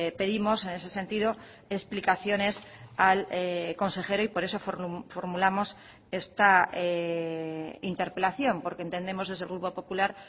pedimos en ese sentido explicaciones al consejero y por eso formulamos esta interpelación porque entendemos desde el grupo popular